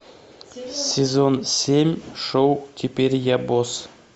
сезон семь шоу теперь я босс